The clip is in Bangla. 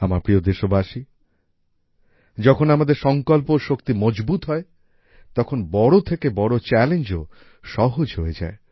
আমার প্রিয় দেশবাসী যখন আমাদের সঙ্কল্প ও শক্তি মজবুত হয় তখন বড় থেকে বড় চ্যালেঞ্জও সহজ হয়ে যায়